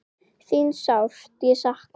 Þín sárt ég sakna.